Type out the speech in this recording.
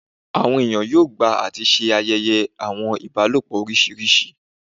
Awọn eniyan yoo gba ati ṣe ayẹyẹ awọn ibalopọ oriṣiriṣi